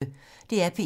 DR P1